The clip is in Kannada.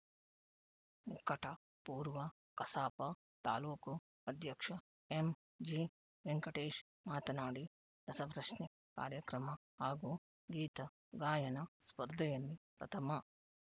ನಿಕಟ ಪೂರ್ವ ಕಸಾಪ ತಾಲೂಕು ಅಧ್ಯಕ್ಷ ಎಂಜಿವೆಂಕಟೇಶ್‌ ಮಾತನಾಡಿ ರಸಪ್ರಶ್ನೆ ಕಾರ್ಯಕ್ರಮ ಹಾಗೂ ಗೀತ ಗಾಯನ ಸ್ಪರ್ಧೆಯಲ್ಲಿ ಪ್ರಥಮ